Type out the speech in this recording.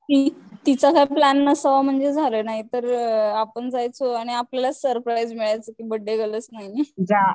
ती तिचा काही प्लॅन नसावा म्हणजे झालं नाहीतर आपण जायचो आणि आपल्यालाच सरप्राईझ मिळायचं कि बर्थडे गर्लच नाहीये.